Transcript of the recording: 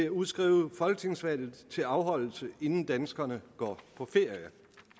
at udskrive folketingsvalget til afholdelse inden danskerne går på ferie